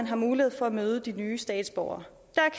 har mulighed for at møde de nye statsborgere